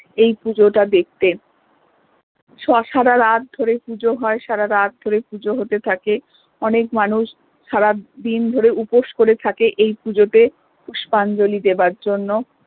এই পুজোটা দেখতে স সারা রাত ধরে পুজো হয় সারা রাত ধরে পুজো হতে থাকে অনেক মানুষ সারা দিন ধরে উপোস করে থাকে এই পূজোতে পুষ্পাঞ্জলি দেবার জন্য